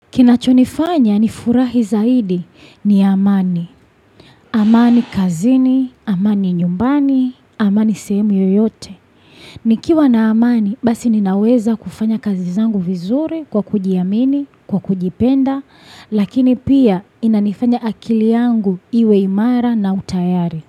Kina chonifanya ni furahi zaidi ni amani. Amani kazini, amani nyumbani, amani semu yoyote. Nikiwa na amani, basi ninaweza kufanya kazi zangu vizuri kwa kujiamini, kwa kujipenda, lakini pia inanifanya akili yangu iwe imara na utayari.